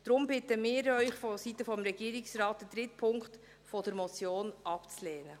Deshalb bieten wir Sie vonseiten des Regierungsrates, den dritten Punkt der Motion abzulehnen.